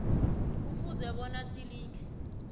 kufuze bona silinge